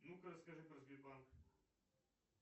ну ка расскажи про сбербанк